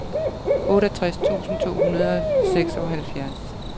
otteogtres tusind to hundrede og seksoghalvfjerds